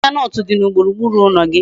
Ahihia nut di na gburugburu ulo gi